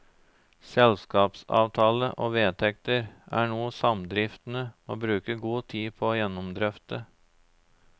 Selskapsavtale og vedtekter er noe samdriftene må bruke god tid på å gjennomdrøfte.